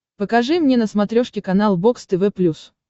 покажи мне на смотрешке канал бокс тв плюс